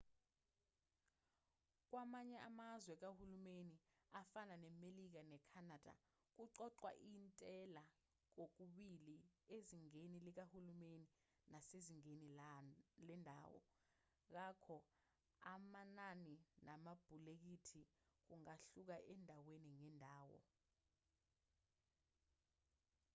kwamanye amazwe kahulumeni afana nemelika ne-canada kuqoqwa intela kokubili ezingeni likahulumeni nasezingeni lendawo ngakho amanani namabhulekethi kungahluka endaweni ngendawo